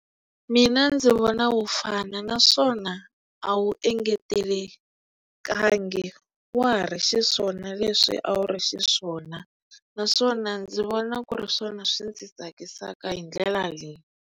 Mina ndzi vona wu fana naswona a wu engetelekangi wa ha ri xiswona leswi a wu ri xiswona naswona ndzi vona ku ri swona swi ndzi tsakisaka hi ndlela leyi.